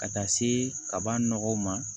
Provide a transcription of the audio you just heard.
Ka taa se kaban nɔgɔw ma